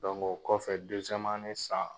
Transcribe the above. o kɔfɛ san